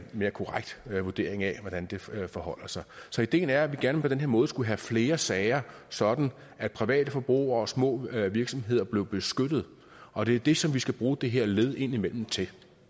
mere korrekt vurdering af hvordan det forholder sig så ideen er at vi gerne på den her måde skulle have flere sager sådan at private forbrugere og små virksomheder blev beskyttet og det er det som vi skal bruge det her led indimellem til